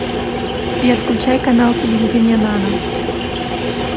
сбер включай канал телевидения нано